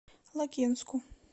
лакинску